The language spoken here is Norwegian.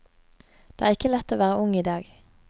Det er ikke lett å være ung i dag.